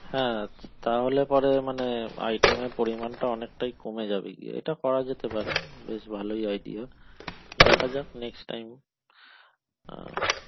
হ্যাঁ তাহলে পরে মানে item র পরিমাণটা অনেকটাই কমে যাবে গিয়ে এটা করা যেতে পারে বেশ ভালই idea দেখা যাক next time